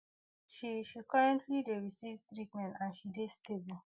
she she currently dey receive treatment and she dey stable